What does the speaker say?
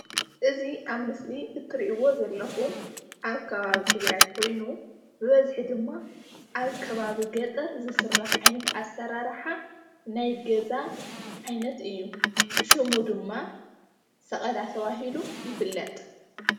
እዚ ኣብ ምስሊ እትሪእዎ ዘለኩም ኣብ ከባቢ ትግራይ ኮይኑ ብበዝሒ ድማ ኣብ ከባቢ ገጠር ዝስራሕ ዓይነት ኣሰራርሓ ናይ ገዛ ዓይነት እዩ፡፡ ሽሙ ድማ ሰቀላ ተባሂሉ ይፍለጥ፡፡